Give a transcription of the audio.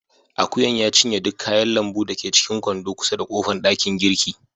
Ajuyan ya cinye duk kayan lambu da ke cikin kwando kusa da kofan dakin girki.